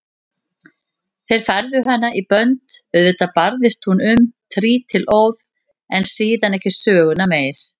Þeir færðu hana í bönd, auðvitað barðist hún um trítilóð en síðan ekki söguna meir.